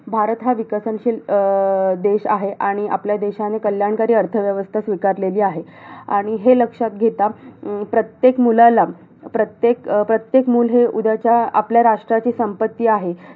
भारत हा विकसनशील अं देश आहे. आणि आपल्या देशाने कल्याणकारी अर्थव्यवस्था स्वीकारली आहे. आणि हे लक्षात घेता, अं प्रत्येक मुलाला प्रत्येक प्रत्येक मुल हे उद्याच्या आपल्या राष्ट्राची संपत्ती आहे.